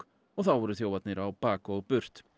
og þá voru þjófarnir á bak og burt